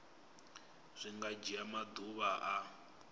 zwi nga dzhia maḓuvha a